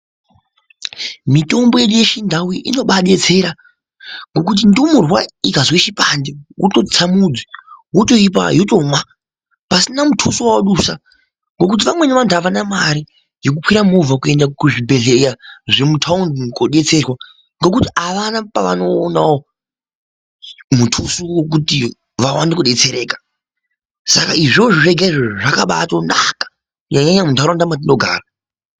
Mitombo yedu yechindau inobaadetsera ngokuti ndumurwa ikazwe chipande wototsa mudzi wotoipa yotomwa pasina mutuso wawadusa ngekuti vamweni vantu havana mare yekukwire movha kuenda kuzvibhedhlera zvemutaundi kodetserwa ngekuti havana pavanoonawo mutuso wekuti vawane kudetsereka saka izvozvo zvega izvozvo zvakabatonaka nenyaya yemundaraunda mwatinogara.